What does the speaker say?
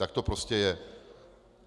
Tak to prostě je.